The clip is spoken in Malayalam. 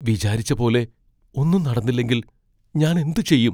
വിചാരിച്ച പോലെ ഒന്നും നടന്നില്ലെങ്കിൽ ഞാൻ എന്ത് ചെയ്യും?